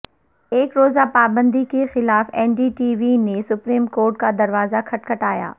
ایک روزہ پابندی کے خلاف این ڈی ٹی وی نے سپریم کورٹ کا دروازہ کھٹکھٹایا